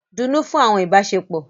Dunnú fún àwọn ìbáṣepọ̀!